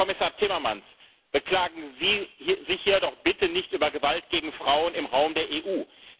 Herr Kommissar Timmermans, beklagen Sie sich hier doch bitte nicht über Gewalt gegen Frauen im Raum der EU!